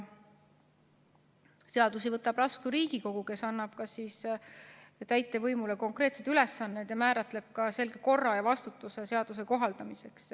Seadusi võtab vastu Riigikogu, kes annab täitevvõimule konkreetsed ülesanded ning määratleb selge korra ja vastutuse seaduse kohaldamiseks.